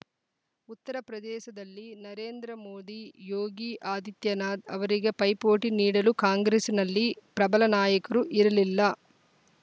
ಉತ್ತರಪ್ರದೇಶದಲ್ಲಿ ನರೇಂದ್ರ ಮೋದಿ ಯೋಗಿ ಆದಿತ್ಯನಾಥ್‌ ಅವರಿಗೆ ಪೈಪೋಟಿ ನೀಡಲು ಕಾಂಗ್ರೆಸ್ಸಿನಲ್ಲಿ ಪ್ರಬಲ ನಾಯಕರು ಇರಲಿಲ್ಲ